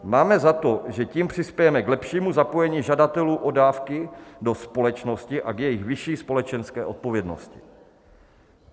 Máme za to, že tím přispějeme k lepšímu zapojení žadatelů o dávky do společnosti a k jejich vyšší společenské odpovědnosti.